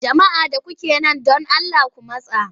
Jama'a da kuke man don Allah ku matsa!